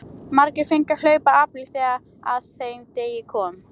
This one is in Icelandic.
Margir fengu að hlaupa apríl þegar að þeim degi kom.